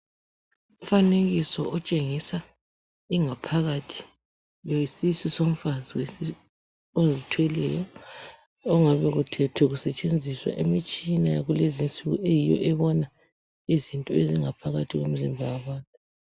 Imifanekiso otshengisa ingaphakathi yesisu somfazi ozithweleyo. Ongabe uthethwe kusetshenziswa imitshina, yakulezi insuku. Eyiyo ebona izinto ezingaphakathi kwemizimba yabantu.